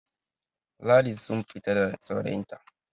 Ladi sun fita da saurayinta